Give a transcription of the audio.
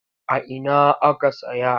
A ina aka saya?